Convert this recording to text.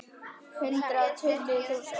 Hundrað og tuttugu þúsund.